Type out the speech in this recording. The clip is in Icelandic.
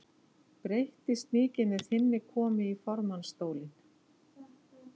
Breytist mikið með þinni komu í formannsstólinn?